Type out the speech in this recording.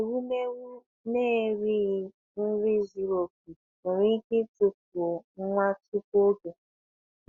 Ewumewụ na-erighị nri zuru oke nwere ike tufuo nwa tupu oge.